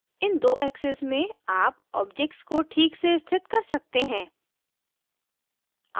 इन दो axes में आप objects को ठीक से स्थित कर सकते हैं